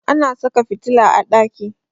Ana saka fitila a ɗaki.